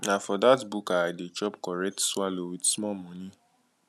na for dat buka i dey chop correct swallow wit small moni